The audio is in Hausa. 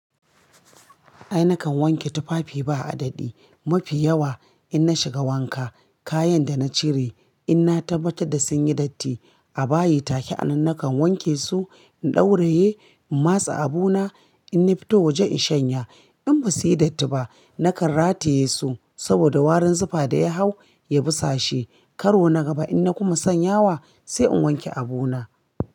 Ai nakan wanke tufafi ba a daɗi. Mafi yawa in na shiga wanka, kayan da na cire in na tabbata da sun yi datti, a bayi take. Anan nakan wanke su, in ɗauraye, in matse abu na, inna fito waje in shanya. In ba suyi datti ba, nakan rataye su saboda warin zufa da ya hau ya busashe. Karo na gaba in na kuma sanya wa, sai in wanke abu na.